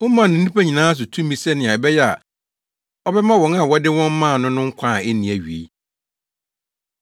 Womaa no nnipa nyinaa so tumi sɛnea ɛbɛyɛ a ɔbɛma wɔn a wode wɔn maa no no nkwa a enni awiei.